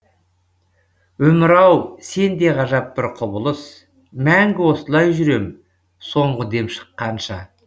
өмір ау сенде ғажап бір құбылыс мәңгі осылай жүрем соңғы дем шыққанша